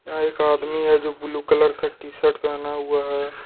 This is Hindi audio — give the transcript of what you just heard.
यहाँ एक आदमी है जो ब्ल्यू कलर का टी सर्ट पहना हुआ है ।